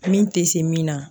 min tɛ se min na